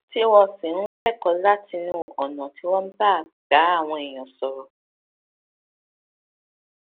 tí wọn sì ń kẹkọọ látinú ọnà tí wọn gbà ń bá àwọn èèyàn sọrọ